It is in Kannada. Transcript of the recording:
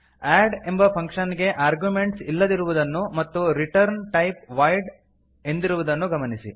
ಅಡ್ ಎಂಬ ಫಂಕ್ಷನ್ ಗೆ ಆರ್ಗ್ಯುಮೆಂಟ್ಸ್ ಇಲ್ಲದಿರುವುದನ್ನು ಮತ್ತು ರಿಟರ್ನ್ ಟೈಪ್ ವಾಯ್ಡ್ ಎಂದಿರುವುದನ್ನು ಗಮನಿಸಿ